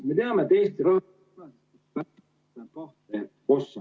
Me teame, et ......